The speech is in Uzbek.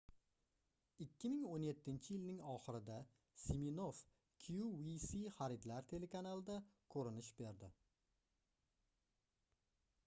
2017-yilning oxirida siminoff qvc xaridlar telekanalida koʻrinish berdi